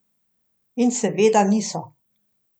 In seveda niso.